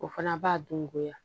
O fana b'a dun goya